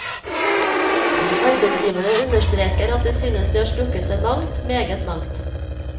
Arbeidsgiverne understreker at de synes de har strukket seg langt, meget langt.